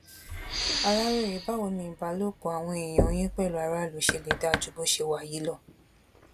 aláròye báwo ni ìbálòpọ àwọn èèyàn yín pẹlú aráàlú ṣe lè dáa ju bó ṣe wà yìí lọ